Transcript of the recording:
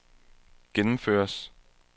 gennemføres